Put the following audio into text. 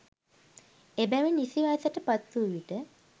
එබැවින් නිසි වයසට පත් වූ විට